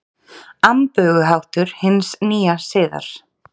Amböguháttur hins nýja siðar.